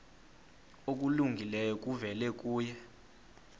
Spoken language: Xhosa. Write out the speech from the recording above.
okulungileyo kuvela kuye